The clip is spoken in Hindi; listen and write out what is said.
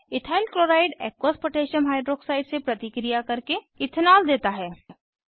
ethyl chloride aqueous potassium hydroxide से प्रतिक्रिया करके इथनॉल देता है